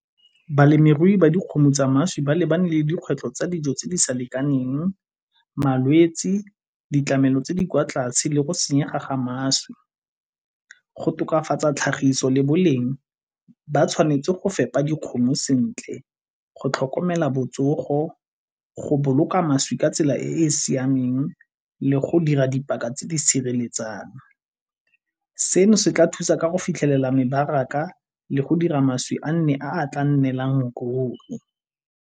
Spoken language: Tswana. Balemirui ba dikgomo tsa mašwi ba lebane le dikgwetlho tsa dijo tse di sa lekaneng, malwetsi, ditlamelo tse di kwa tlase le go senyega mašwi. Go tokafatsa tlhagiso le boleng ba tshwanetse go fepa dikgomo sentle go tlhokomela botsogo, go boloka mašwi ka tsela e e siameng le go dira dipaka tse di sireletsang. Seno se tla thusa ka go fitlhelela mebaraka le go dira mašwi a nne a tla nnelang ruri.